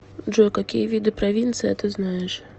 джой какие виды провинция ты знаешь